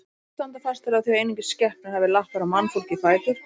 Margir standa fastir á því að einungis skepnur hafi lappir og mannfólkið fætur.